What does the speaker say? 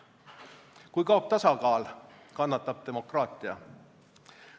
Kui kaob tasakaal, kannatab demokraatia.